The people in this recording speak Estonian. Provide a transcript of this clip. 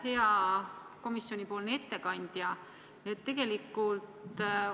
Hea komisjonipoolne ettekandja!